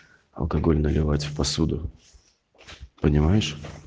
алкоголь наливать в посуду понимаешь